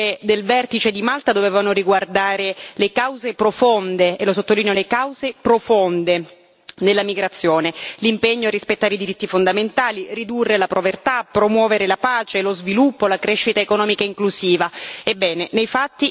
Le dichiarazioni politiche del vertice di Malta dovevano riguardare le cause profonde e lo sottolineo, le cause profonde della migrazione l'impegno a rispettare i diritti fondamentali, ridurre la povertà, promuovere la pace, lo sviluppo, la crescita economica inclusiva.